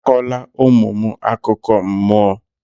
Akọla ụmụ m akụkọ mmụọ!